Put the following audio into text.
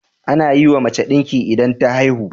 Anayiwa mace dinki idan ta haihu